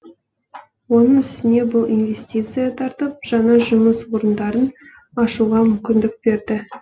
оның үстіне бұл инвестиция тартып жаңа жұмыс орындарын ашуға мүмкіндік береді